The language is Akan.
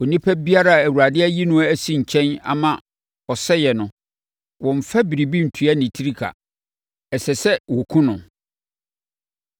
“ ‘Onipa biara a Awurade ayi no asi nkyɛn ama ɔsɛeɛ no, wɔmmfa biribi ntua ne tiri ka. Ɛsɛ sɛ wɔkum no.